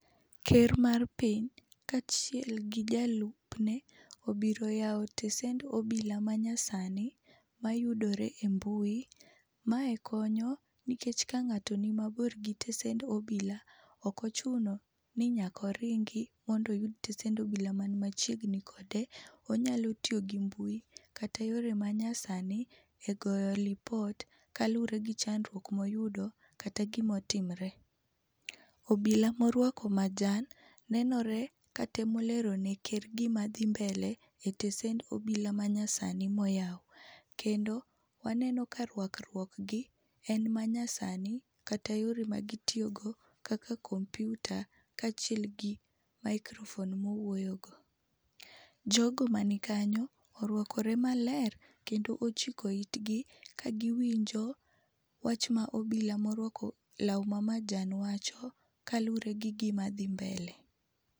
Ker mar piny, kaachiel gi jalupne obiro yawo tesend obila manyasani mayudore e mbui. Mae konyo nikech kang'ato nimabor gi tesend obila, ok ochuno ni nyaka oringi mondo oyud tesend obila man machiegni kode. Onyalo tiyo gi mbui, kata yore manyasani egoyo lipot kaluwore gi chandruok moyudo kata gima otimre. Obila moruako majan nenore ka temo lero neker gima dhi mbele e tesend obila manyasani moyaw. Kendo waneno ka ruakruok gi e manyasani. Kata yore magitiyogo kaka kompiuta, kaachiel gi microphone mowuoyo go. Jogo man kanyo oruakre maler kendo ochiko itgi kagiwinjo wach ma obila moruako law mamajan wacho, kaluwore gi gima dhi mbele.